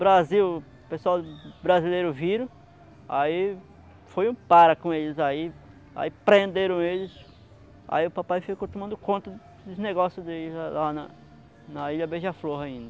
Brasil, o pessoal brasileiro viram, aí foi um para com eles aí, aí prenderam eles, aí o papai ficou tomando conta dos negócios deles lá na na ilha Beija-flor ainda.